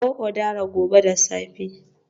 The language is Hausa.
Kawo udara gobe da safe